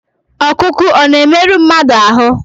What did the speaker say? Ọkụkụ ọ̀ na-emerụ mmadụ ahụ́?